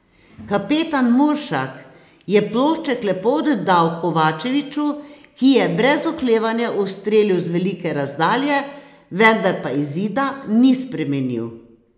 Kapetan Muršak je plošček lepo oddal Kovačeviču, ki je brez oklevanja ustrelil z velike razdalje, vendar pa izida ni spremenil.